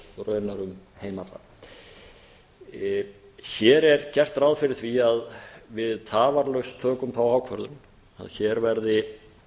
raunar um heim allan hér er gert ráð fyrir því að við tafarlaust tökum þá ákvörðun að hér verði